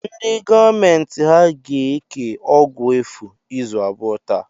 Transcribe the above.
Ndị gọọmenti ha ga-eke ọgwụ efu izu abụọ taa?